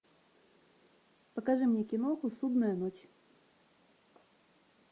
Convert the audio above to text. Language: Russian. покажи мне киноху судная ночь